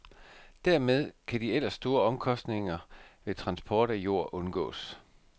Dermed kan de ellers store omkostninger ved transport af jord undgås.